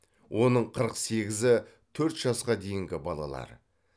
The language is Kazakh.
оның қырық сегізі төрт жасқа дейінгі балалар